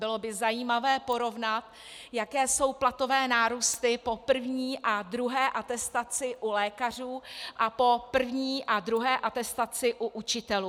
Bylo by zajímavé porovnat, jaké jsou platové nárůsty po první a druhé atestaci u lékařů a po první a druhé atestaci u učitelů.